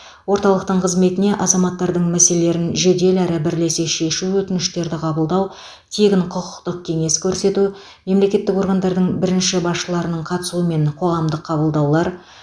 орталықтың қызметіне азаматтардың мәселелерін жедел әрі бірлесе шешу өтініштерді қабылдау тегін құқықтық кеңес көрсету мемлекеттік органдардың бірінші басшыларының қатысуымен қоғамдық қабылдаулар